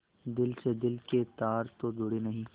दिल से दिल के तार तो जुड़े नहीं